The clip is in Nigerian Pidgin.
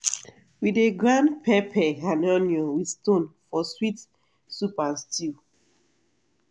we dey grind pepper and onion with stone for sweet soup and stew.